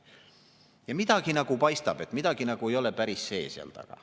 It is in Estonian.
Ja midagi nagu paistab, midagi nagu ei ole päris see seal taga.